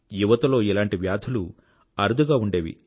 యువతలో ఇలాంటి వ్యాధులు అరుదుగా ఉండేది